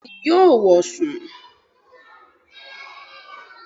Bẹ́ẹ̀ni yóò wọ̀ sùn